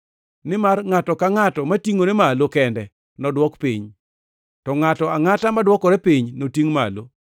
Nimar ngʼato ka ngʼato matingʼore malo kende nodwok piny, to ngʼato angʼato madwokore piny notingʼ malo.